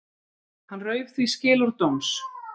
Hann rauf því skilorð þess dóms